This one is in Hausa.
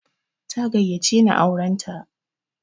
Ta gayyace ni auran ta.